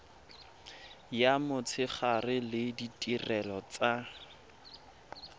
ya motshegare le ditirelo tsa